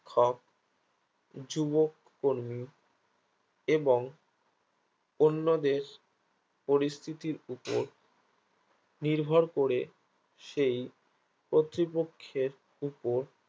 শিক্ষক যুবক কর্মী এবং অন্যদের পরিস্তিতির উপর নির্ভর করে সেই কতৃপক্ষের উপর